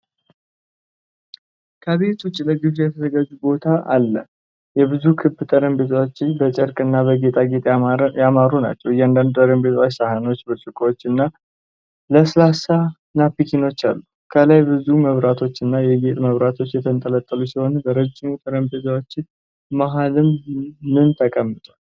ከቤት ውጪ ለግብዣ የተዘጋጀ ቦታ አለ። ብዙ ክብ ጠረጴዛዎች በጨርቅ እና በጌጣጌጥ ያማሩ ናቸው። እያንዳንዱ ጠረጴዛ ሳህኖች፣ ብርጭቆዎች እና ለስላሳ ናፕኪኖች አሉት። ከላይ ብዙ መብራቶችና የጌጥ መብራቶች የተንጠለጠሉ ሲሆን፣ በረዥሙ ጠረጴዛው መሃልም ምን ተቀምጠዋል።